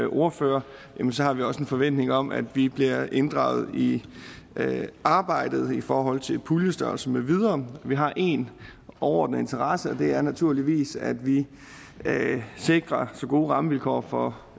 ordfører har vi også en forventning om at vi bliver inddraget i arbejdet i forhold til puljestørrelse med videre vi har én overordnet interesse og det er naturligvis at vi sikrer så gode rammevilkår for